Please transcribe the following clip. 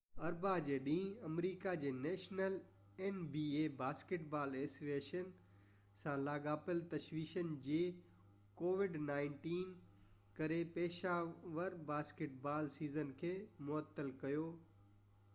اربع جي ڏينهن، آمريڪا جي national basketball association nba covid-19 سان لاڳاپيل تشويشن جي ڪري پيشيور باسڪيٽ بال سيزن کي معطل ڪيو